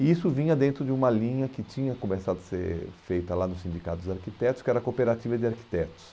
E isso vinha dentro de uma linha que tinha começado a ser feita lá no Sindicato dos Arquitetos, que era a Cooperativa de Arquitetos.